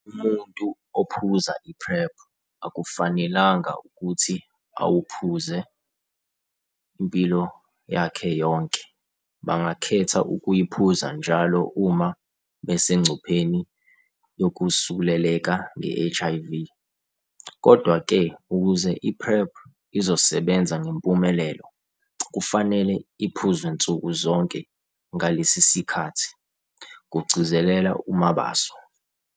"Umuntu ophuza i-PrEP akufanelanga ukuthi awuphuze impilo yakhe yonke, bangakhetha ukuyiphuza njalo uma besengcupheni yokusuleleka nge-HIV. Kodwa-ke, ukuze i-PrEP izosebenza ngempumelelo, kufanele iphuzwe nsuku zonke, ngalesi sikhathi," kugcizelela uMabaso.